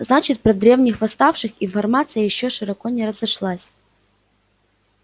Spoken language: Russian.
значит про древних восставших информация ещё широко не разошлась